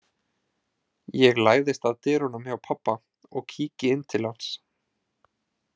Ég læðist að dyrunum hjá pabba og kíki inn til hans.